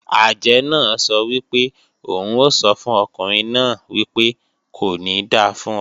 Àjẹ́ náà sọ wípé òun o sọ fún ọkùnrin náà wípé "Kò ní da fún ọ"